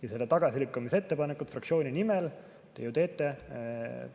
Ja selle tagasilükkamise ettepaneku fraktsiooni nimel te ju teete.